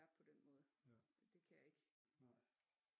Vært på den måde det kan jeg ikke